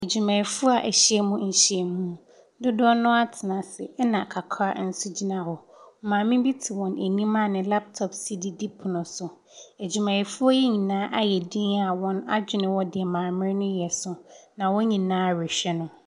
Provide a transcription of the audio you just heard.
Adwumayɛfoɔ wa hyia mu dodoɔ naa atena asi ɛna kakra nso gyina hɔ maame te wɔn anim ne laptop si ɛpono so adwuma yɛfoɔ ayɛ diin a wɔn adwene wɔ deɛ maame no yɛ so.